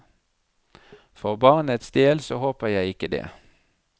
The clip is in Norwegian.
For barnets del så håper jeg ikke det.